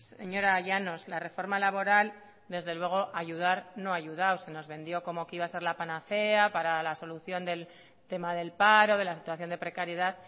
señora llanos la reforma laboral desde luego ayudar no ha ayudado se nos vendió como que iba a ser la panacea para la solución del tema del paro de la situación de precariedad